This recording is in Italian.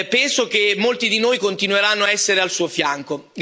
Penso che molti di noi continueranno a essere al suo fianco.